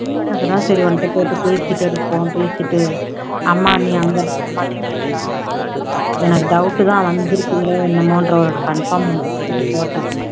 அது தான் சரி உன்கிட்ட போட்டு பேசிட்டுருப்போம் பேசிட்டு அம்மா நீ அங்க இருந்தா அம்மாட்டயும் பேசலாம்னு பாத்தேன் எனக்கு doubt தான் வந்துருப்பீங்களே என்னமோன்ற ஒரு conform பண்றதுக்கு தான் போட்டேன்